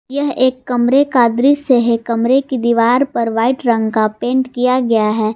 यह एक कमरे का दृश्य से है कमरे की दीवार पर वाइट रंग का पेंट किया गया है।